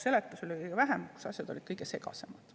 Seletusi oli kõige vähem, asjad olid kõige segasemad.